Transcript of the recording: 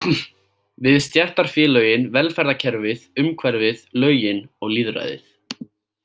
Við stéttarfélögin, velferðarkerfið, umhverfið, lögin og lýðræðið.